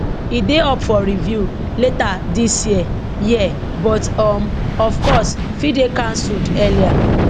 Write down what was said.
e dey up for review later dis year year but um of course fit dey cancelled earlier